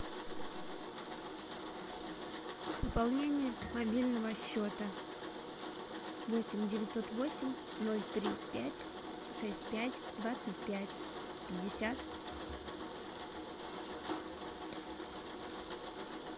пополнение мобильного счета восемь девятьсот восемь ноль три пять шесть пять двадцать пять пятьдесят